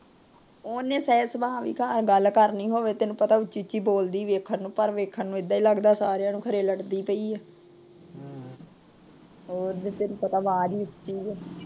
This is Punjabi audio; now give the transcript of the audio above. ਉਹਨੇ ਸਹਿ ਸੁਭਾ ਵੀ ਗੱਲ ਕਰਨੀ ਹੋਵੇ। ਤੈਨੂੰ ਪਤਾ ਉੱਚੀ ਉੱਚੀ ਬੋਲਦੀ। ਪਰ ਵੇਖਣ ਨੂੰ ਏਦਾਂ ਲੱਗਦਾ ਸਾਰਿਆਂ ਨੂੰ ਵੀ ਲੜਦੀ ਪਈ ਏ।